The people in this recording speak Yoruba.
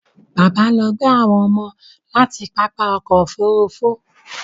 Bàbá lọ gbé àwọn ọmọ láti pápá ọkọ̀ Òfurufú